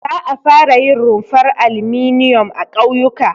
Za a fara yin rumfar alminiyom a ƙauyuka.